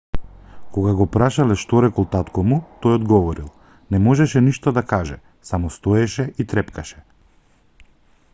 кога го прашале што рекол татко му тој одговорил не можеше ништо да каже само стоеше и трепкаше